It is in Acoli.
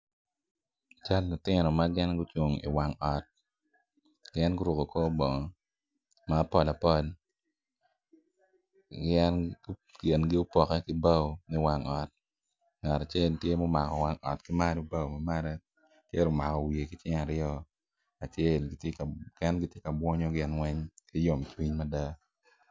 Cal lutino ma gin gucung i wang ot gin guruko kor bongo ma apalapal yen kingi opoke ki bao me wang ot ngat acel tye ma omako wang ot ki malo bao ma malo acel omako wiye ki cinge aryo acel mukene tye ka bwongo gin weng ki yom cwiny mada.